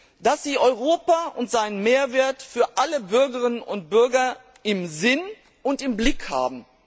und dass sie Europa und seinen Mehrwert für alle Bürgerinnen und Bürger im Sinn und im Blick haben.